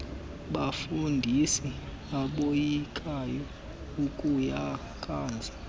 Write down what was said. bafundisi uboyikayo akuyazi